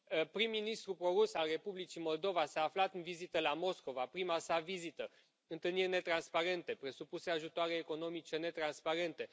Prim ministrul pro rus al Republicii Moldova s a aflat în vizită la Moscova, prima sa vizită, întâlniri netransparente, presupuse ajutoare economice netransparente.